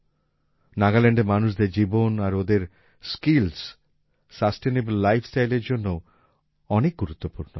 নাগাল্যান্ডের মানুষদের জীবন আর ওঁদের স্কিলস সাসটেইনেবল লাইফ স্টাইলের জন্যও অনেক গুরুত্বপূর্ণ